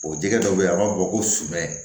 O jɛgɛ dɔ bɛ yen a b'a fɔ ko sumɛ